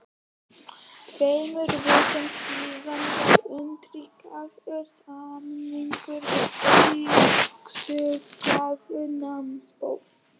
Tveimur vikum síðar var undirritaður samningur við Ríkisútgáfu námsbóka.